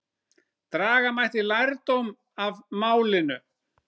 Draga mætti lærdóm af málinu.